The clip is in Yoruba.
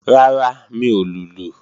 Rárá, mi ò lùlù